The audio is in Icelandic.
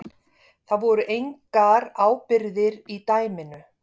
Það voru engar ábyrgðir í dæminu